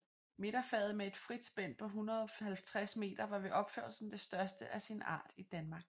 Midterfaget med et frit spænd på 150 meter var ved opførelsen det største af sin art i Danmark